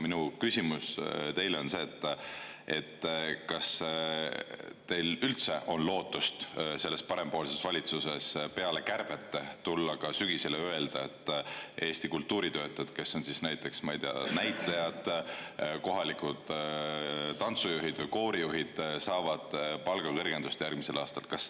Minu küsimus teile on see: kas üldse on lootust, et te selle parempoolse valitsuse saate sügisel tulla ja kärbetest hoolimata ka öelda, et Eesti kultuuritöötajad, kes on näiteks näitlejad, kohalikud tantsujuhid või koorijuhid, saavad järgmisel aastal palgakõrgendust?